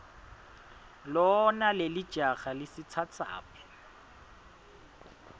lona lelijaha lisitsatsaphi